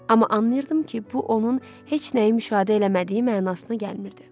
Amma anlayırdım ki, bu onun heç nəyi müşahidə eləmədiyi mənasına gəlmirdi.